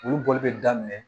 Olu bɔli bɛ daminɛ